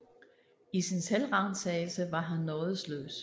I sin selvransagelse var han nådesløs